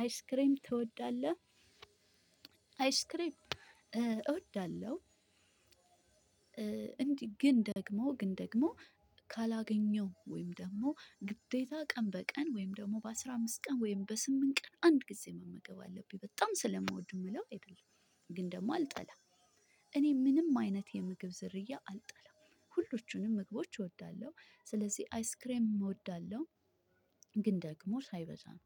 አይስክሬም ትወዳለህ? አይስክሬም እወዳለሁ እንዲህ ግን ደግሞ! ግን ደግሞ! ካላገኘው ወይም ደግሞ ግዴታ ቀን በቀን ወይም ደግሞ በአስራ አምስት ቀን ወይም በስምንት ቀን አንድ ጊዜ መመገብ አለብኝ በጣም ስለምወድ የምለው አይደለም። ግን ደግሞ አልጠላም። እኔ ምንም አይነት የምግብ ዝርያ አልጠላም። ሁሉንም ምግቦች እወዳለሁ። ስለዚህ አይስክሬም እወዳለሁ። ግን ደግሞ ሳይበዛ ነው።